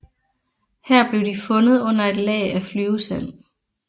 Her blev de fundet under et lag af flyvesand